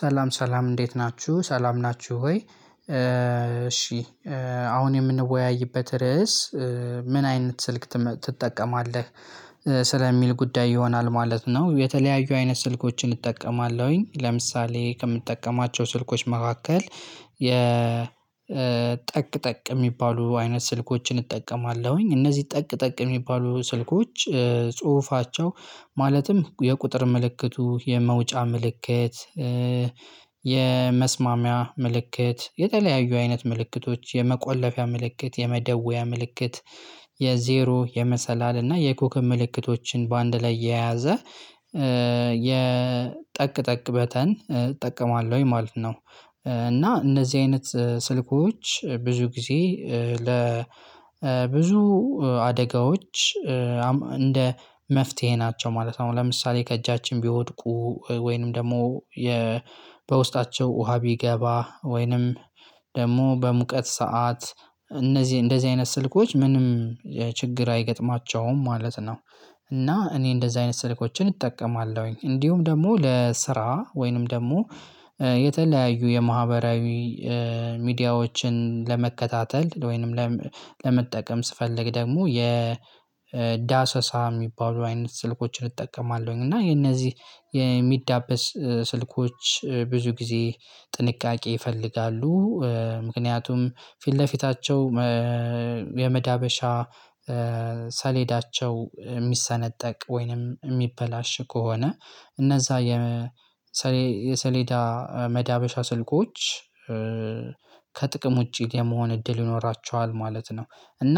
ሰላም ሰላም እንዴት ናችሁ ሰላም ናችሁ ወይ እሺ አሁን የምንወያይበት ርዕስ? ምን አይነት ስልክ ትጠቀማለህ ስለሚል ጉዳይ ይሆናል ማለት ነው። የተለያዩ አይነት ስልኮችን እጠቀማለሁኝ ለምሳሌ ከምጠቀማቸው ስልኮች መካከል የጠቅ ጠቅ የሚባሉ አይነት ስልኮችን እጠቀማለሁኝ። እነዚህ ጠቅ ጠቅ የሚባሉ ስልኮች ጽሁፋቸው ማለትም የቁጥር ምልክቱ የመውጫ ምልክት የመስማሚያ ምልክት የተለያዩ አይነት ምልክቶች የመቆለፊያ ምልክት የመደወያ ምልክት የዜሮ የመሰላል እና የኮከብ ምልክቶችን በአንድ ላይ የያዘ የጠቅ ጠቅ በተን እጠቀማለሁኝ ማለት ነው። እና እነዚህ አይነት ስልኮች ብዙ ጊዜ ለ ብዙ አደጋዎች እንደ መፍትሄ ናቸው ማለት ነው። ለምሳሌ ከእጃችን ቢወድቁ ወይንም ደግሞ የ በውስጣቸው ውሃ ቢገባ ወይንም ደግሞ በሙቀት ሰዓት እነዚህ እንደዚህ አይነት ስልኮች ምንም ችግር አይገጥማቸውም ማለት ነው። እና እኔ እንደዚህ አይነት ስልኮችን እጠቀማለሁኝ። እንዲሁም ደግሞ ለስራ ወይንም ደግሞ የተለያዩ የማህበራዊ ሚዲያዎችን ለመከታተል ወይንም ለመጠቀም ስፈልግ ደግሞ የዳሰሳ የሚባሉ አይነት ስልኮችን እጠቀማለሁኝ። እና የነዚህ የሚዳበስ ስልኮች ብዙ ጊዜ ጥንቃቄ ይፈልጋሉ። ምክንያቱም ፊት ለፊታቸው የመዳበሻ ሰሌዳቸው የሚሰነጠቅ ወይንም የሚበላሽ ከሆነ እነዛ የ የሰሌዳ መዳበሻ ስልኮች ከጥቅም ውጪ የመሆን እድል ይኖራቸዋል ማለት ነው። እና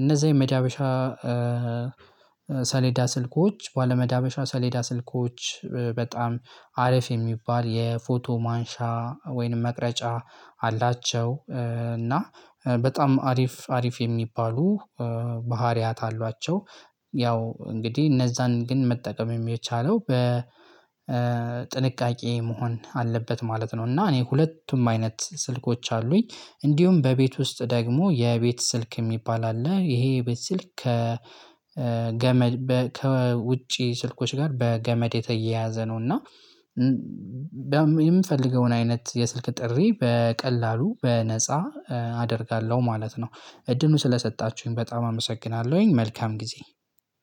እነዛ የመዳበሻ ሰሌዳ ስልኮች ባለመዳበሻ ሰሌዳ ስልኮች በጣም አሪፍ የሚባል የፎቶ ማንሻ ወይንም መቅረጫ አላቸው እና በጣም አሪፍ አሪፍ የሚባሉ ባህሪያት አሏቸው። ያው እንግዲህ እነዛን ግን መጠቀም የሚቻለው በጥንቃቄ መሆን አለበት ማለት ነው። እና እኔ ሁለቱም አይነት ስልኮች አሉኝ። እንዲሁም በቤት ውስጥ ደግሞ የቤት ስልክ የሚባል አለ ይሄ የቤት ስልክ ከገመድ ከውጪ ስልኮች ጋር በገመድ የተያያዘ ነው። እና የምፈልገውን አይነት የስልክ ጥሪ በቀላሉ በነፃ አደርጋለሁ ማለት ነው። እድሉን ስለሰጣችሁኝ በጣም አመሰግናለሁኝ መልካም ጊዜ።